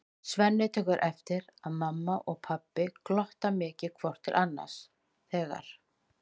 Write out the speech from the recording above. Svenni tekur eftir að mamma og pabbi glotta mikið hvort til annars þegar